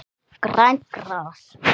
Grænt gras.